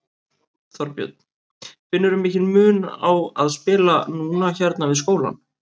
Þorbjörn: Finnurðu mikinn mun á að spila núna hérna við skólann?